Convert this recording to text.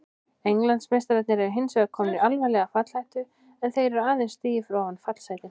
Englandsmeistararnir eru hinsvegar komnir í alvarlega fallhættu en þeir eru aðeins stigi fyrir ofan fallsætin.